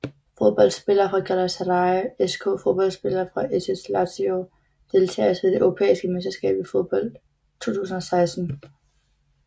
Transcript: Fodboldspillere fra Galatasaray SK Fodboldspillere fra SS Lazio Deltagere ved det europæiske mesterskab i fodbold 2016